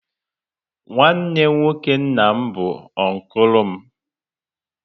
Nwanne nwoke nna m bụ unkulu m